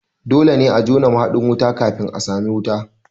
Dole ne a jona mahaɗin wuta kafin a sami wuta